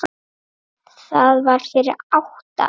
Það var fyrir átta árum